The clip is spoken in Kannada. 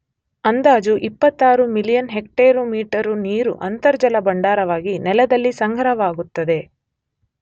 ಅಂದಾಜು 26 ಮಿಲಿಯನ್ ಹೆಕ್ಟೇರು ಮೀಟರು ನೀರು ಅಂತರ್ಜಲ ಭಂಡಾರವಾಗಿ ನೆಲದಲ್ಲಿ ಸಂಗ್ರಹವಾಗುತ್ತದೆ.